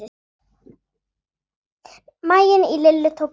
Maginn í Lillu tók kipp.